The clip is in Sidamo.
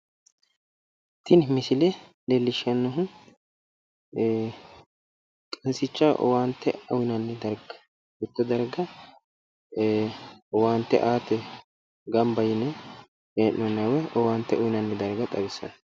Tini misile leellishshannohu qansichaho owaante uyinanni darga mitto darga owaante aate gamba yine hee'noonniwa woy owaante uynanni darga xawissanno.